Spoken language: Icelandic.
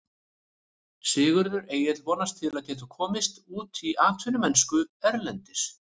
Sigurður Egill vonast til að geta komist út í atvinnumennsku erlendis.